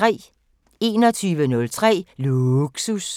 21:03: Lågsus